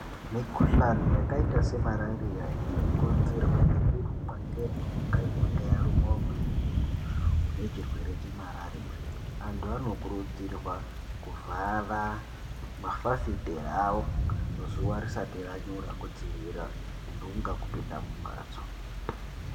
Mikhuhlani yakaita semarariya inokonzerwa ngekurumwa ngenhunga inenge yaruma umweni muntu unechirwere chemarariya. Antu anokurudzirwa kuvhara mafafitera awo zuwa risati ranyura kudzivirira ntunga kupinda mumhatso.